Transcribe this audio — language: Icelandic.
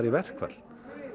í verkfall